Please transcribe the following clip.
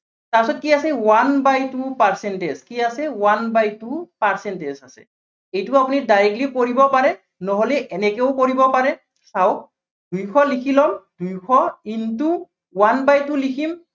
তাৰপিছত কি আছে one by two percentage কি আছে, one by two percentage আছে। এইটো আপুনি directly কৰিবও পাৰে, নহলে এনেকেও কৰিব পাৰে। চাওক দুইশ লিখি লম, দুইশ into one by two লিখিম।